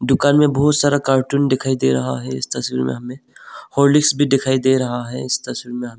दुकान में बहुत सारा कार्टून दिखाई दे रहा है इस तस्वीर में हमें हॉर्लिक्स दिखाई भी दे रहा है इस तस्वीर में हमें--